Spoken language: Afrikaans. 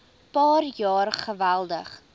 paar jaar geweldig